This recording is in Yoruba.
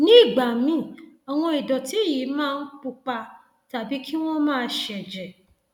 nígbà míì àwọn ìdọtí yìí máa ń pupa tàbí kí wọn máa ṣẹjẹ